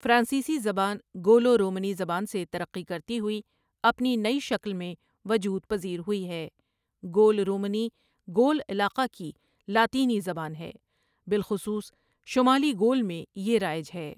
فرانسیسی زبان گولو رومنی زبان سے ترقی کرتی ہوئی اپنی نئی شکل میں وجود پزیر ہوئی ہے گول رومنی گول علاقہ کی لاطینی زبان ہے بالخصوص شمالی گول میں یہ رائج ہے ۔